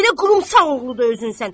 Belə qurumsax oğlu özün sənsən.